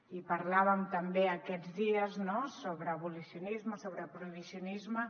i parlàvem també aquests dies no sobre abolicionisme sobre prohibicionisme